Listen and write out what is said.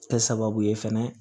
Kɛ sababu ye fɛnɛ